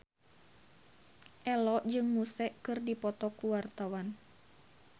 Ello jeung Muse keur dipoto ku wartawan